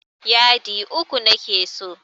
Yadi uku nake so.